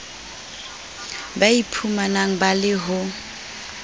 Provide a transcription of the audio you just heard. ba iphumanang ba le ho